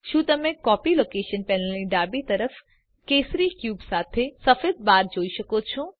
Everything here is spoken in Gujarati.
શું તમે કોપી લોકેશન પેનલની ડાબી તરફ કેસરી ક્યુબ સાથે સફેદ બાર જોઈ શકો છો